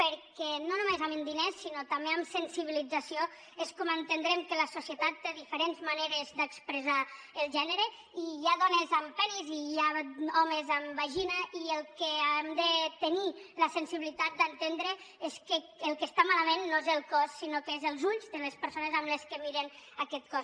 perquè no només amb diners sinó també amb sensibilització és com entendrem que la societat té diferents maneres d’expressar el gènere i hi ha dones amb penis i hi ha homes amb vagina i el que hem de tenir la sensibilitat d’entendre és que el que està malament no és el cos sinó els ulls de les persones que miren aquest cos